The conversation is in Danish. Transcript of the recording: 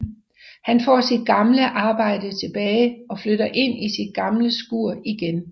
Han får sit gamle arbejde til tilbage og flytter ind i sit gamle skur igen